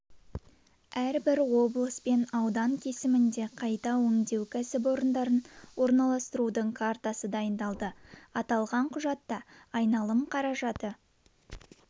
әрбір облыс пен аудан кесімінде қайта өңдеу кәсіпорындарын орналастырудың картасы дайындалды аталған құжатта айналым қаражаты